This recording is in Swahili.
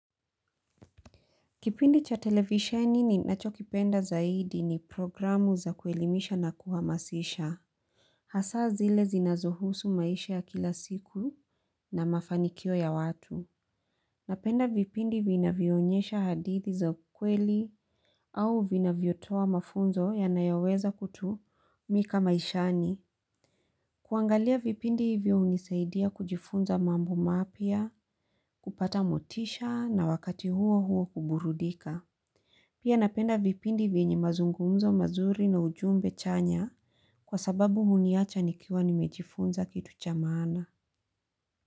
Kipindi cha televisioni ni nacho kipenda zaidi ni programu za kuelimisha na kuhamasisha. Hasaa zile zinazuhusu maisha ya kila siku na mafanikio ya watu. Napenda vipindi vinavyoonyesha hadithi za ukweli au vinavyotoa mafunzo yanayoweza kutumika maishani. Kuangalia vipindi hivyo hunisaidia kujifunza mambo mapya kupata motisha na wakati huo huo kuburudika. Pia napenda vipindi vyenyi mazungumzo mazuri na ujumbe chanya kwa sababu huniacha nikiwa nimejifunza kitu cha maana.